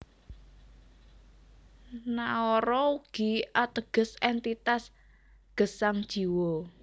Naara ugi ateges éntitas gesang Jiwa